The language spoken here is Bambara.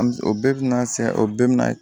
An bɛ o bɛɛ bɛ na se o bɛɛ bɛ na